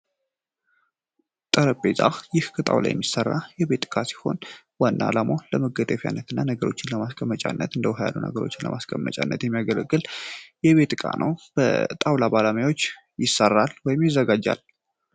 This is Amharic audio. ጠረጴዛ ይህ ከጣውላ የሚሰራ የቤት ዕቃ ሲሆን ዋና አላማው ለመደገፊያና ነገሮችን ለማስቀመጫ እንደ ውሃ ያሉ ነገሮች ለማስቀመጥ ያገለግላል የቤት እቃ ነው በጣውላ ባለሙያዎች ይሰራል ወይም ይዘጋጃል።